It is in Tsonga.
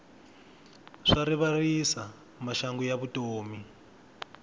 swa rivalisa maxangu ya vutomi